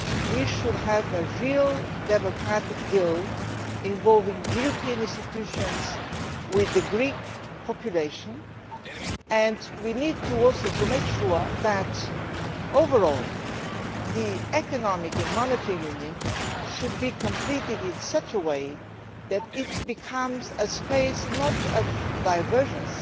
We should have a real democratic deal, involving the European institutions with the Greek population, and we also need to make sure that, overall, the Economic and Monetary Union is completed in such a way that it becomes a space not of divergence